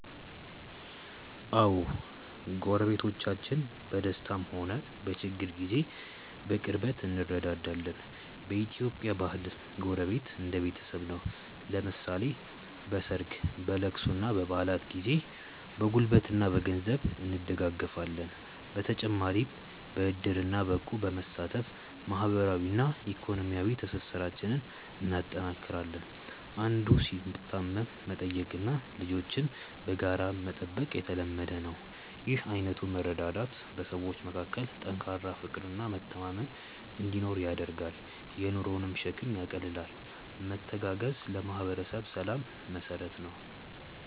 አዎ፣ ጎረቤቶቻችን በደስታም ሆነ በችግር ጊዜ በቅርበት እንረዳዳለን። በኢትዮጵያ ባህል ጎረቤት እንደ ቤተሰብ ነው፤ ለምሳሌ በሰርግ፣ በልቅሶና በበዓላት ጊዜ በጉልበትና በገንዘብ እንደጋገፋለን። በተጨማሪም በዕድርና በእቁብ በመሳተፍ ማህበራዊና ኢኮኖሚያዊ ትስስራችንን እናጠናክራለን። አንዱ ሲታመም መጠየቅና ልጆችን በጋራ መጠበቅ የተለመደ ነው። ይህ አይነቱ መረዳዳት በሰዎች መካከል ጠንካራ ፍቅርና መተማመን እንዲኖር ያደርጋል፤ የኑሮንም ሸክም ያቃልላል። መተጋገዝ ለማህበረሰብ ሰላም መሰረት ነው።